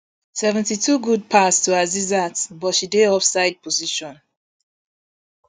seventy-two good pass to asisat but she dey offside position